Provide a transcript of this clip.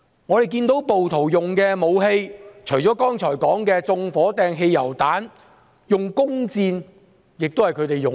我們看到暴徒使用的武器，除剛才所說用以縱火的汽油彈外，弓箭也是其一。